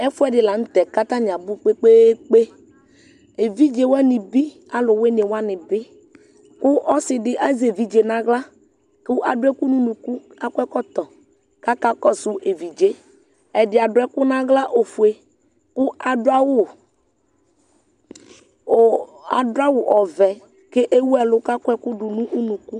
Ɛfʋɛdi lanʋtɛ kʋ atani abʋ kpe kpe kpe evidze wani bi alʋwini wani bi kʋ ɔsidi azɛ evidze nʋ aɣla kʋ adʋ ɛkʋ nʋ ʋnʋkʋ kʋ adʋ ɛkɔtɔ kʋ akakɔsʋ evidze ɛdi adʋ ɛkʋ nʋ aɣla ofue kʋ adʋ awʋ ɔvɛ kʋ ewʋ ɛlʋ kʋ akɔ ɛkʋ dʋnʋ ʋnʋkʋ